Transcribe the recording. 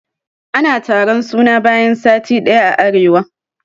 Ana taron suna bayan sati ɗaya a arewa.